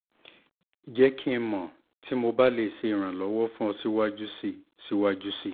jẹ ki o mọ ti mo ba le ṣe iranlọwọ fun ọ siwaju sii siwaju sii